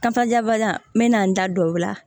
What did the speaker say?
Kankajabaliya n bɛ na n da don o la